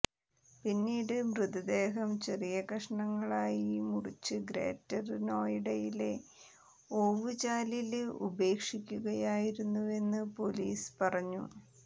പിന്നീട് മൃതദേഹം ചെറിയ കഷ്ണങ്ങളായി മുറിച്ചു ഗ്രേറ്റര് നോയിഡയിലെ ഓവുചാലില് ഉപേക്ഷിക്കുകയായിരുന്നുവെന്നു പോലിസ് പറഞ്ഞു